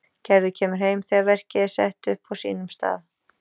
Gerður kemur heim þegar verkið er sett upp á sínum stað.